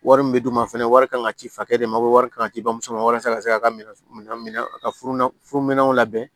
Wari min bɛ d'u ma fɛnɛ wari kan ka ci fakɛ de ma ko wari kan ka ci bamuso ma walasa ka se ka minɛn a ka furu na furu minɛw labɛn